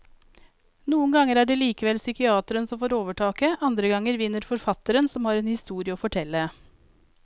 Noen ganger er det likevel psykiateren som får overtaket, andre ganger vinner forfatteren som har en historie å fortelle.